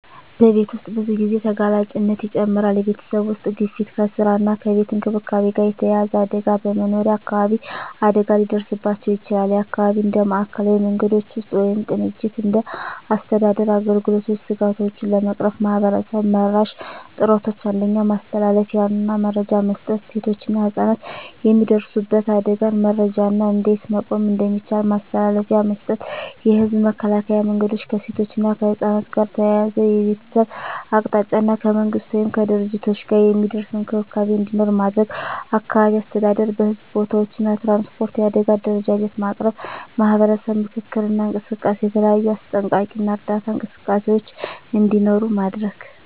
በቤት ውስጥ ብዙ ጊዜ ተጋላጭነት ይጨምራል የቤተሰብ ውስጥ ግፊት ከስራ እና ከቤት እንክብካቤ ጋር የተያያዘ አደጋ በመኖሪያ አካባቢ አደጋ ሊደርስባቸው ይችላል (የአካባቢ እንደ ማዕከላዊ መንገዶች ውስጥ ወይም ቅንጅት እንደ አስተዳደር አገልግሎቶች ስጋቶቹን ለመቅረፍ ማህበረሰብ-መራሽ ጥረቶች 1. ማስተላለፊያ እና መረጃ መስጠት ሴቶችና ህፃናት የሚደርሱበት አደጋን መረጃ እና እንዴት መቆም እንደሚቻል ማስተላለፊያ መስጠት። የህዝብ መከላከያ መንገዶች ከሴቶች እና ከህፃናት ጋር ተያያዘ የቤተሰብ አቅጣጫ እና ከመንግሥት ወይም ከድርጅቶች ጋር የሚደርስ እንክብካቤ እንዲኖር ማድረግ። አካባቢ አስተዳደር በሕዝብ ቦታዎች እና ትራንስፖርት የአደጋ አደረጃጀት ማቅረብ። ማህበረሰብ ምክክር እና እንቅስቃሴ የተለያዩ አስጠንቀቂ እና እርዳታ እንቅስቃሴዎች እንዲኖሩ ማድረግ።